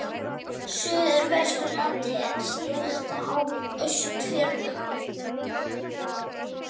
Suðvesturlandi en síðast á Austfjörðum.